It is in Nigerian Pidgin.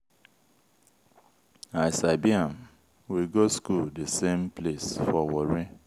i sabi am. we go school the same place for warri.